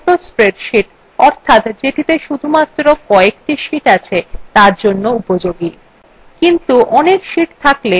এই নামকরণ একটি ছোট spreadsheet অর্থাৎ যেটিতে শুধুমাত্র কএকটি sheets আছে তার জন্য উপযোগী কিন্তু অনেক sheets থাকলে এই পদ্ধতি খুবই কষ্টসাধ্য